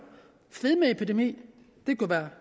fedmeepidemier det kunne være